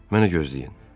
Mənə gözləyin.